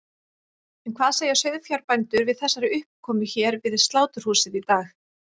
En hvað segja sauðfjárbændur við þessari uppákomu hér við sláturhúsið í dag?